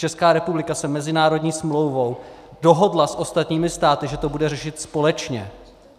Česká republika se mezinárodní smlouvou dohodla s ostatními státy, že to bude řešit společně.